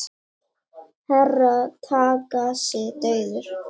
Herra Takashi dauður!